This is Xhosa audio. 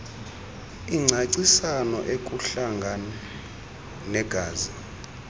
ancancisayo ukuhlanga negazi